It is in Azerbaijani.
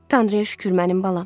"Tanrıya şükür mənim balam."